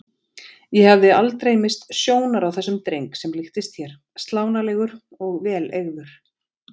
Ég hafði aldrei misst sjónar á þessum dreng sem líktist þér, slánalegur og vel eygður.